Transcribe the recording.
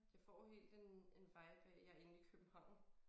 Jeg får helt en en vibe af jeg inde i København